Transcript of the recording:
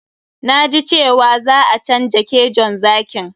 Na ji cewa za a canja kejon zakin.